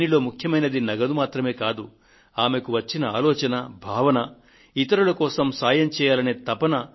దీనిలో ముఖ్యమైంది నగదు మాత్రమే కాదు ఆమెకు వచ్చిన ఆలోచన భావన ఇతరుల కోసం సాయం చేయాలనే తపన